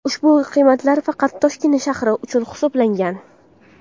Ushbu qiymatlar faqat Toshkent shahri uchun hisoblangan.